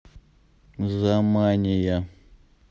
замания